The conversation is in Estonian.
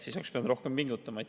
Siis oleks pidanud rohkem pingutama.